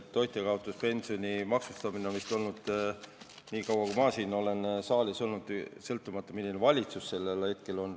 Toitjakaotuspensioni on maksustatud vist nii kaua, kui mina olen siin saalis olnud, sõltumata sellest, milline valitsus on hetkel olnud.